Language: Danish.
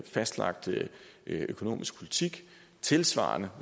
fastlagt økonomisk politik og tilsvarende